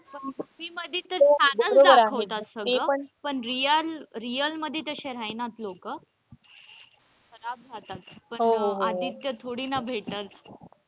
Movie मध्ये तर छान च दाखवतात सगळं पण real real मध्ये तशे राहीनात लोक खराब रहातात पण आदित्य थोडी ना भेटलं.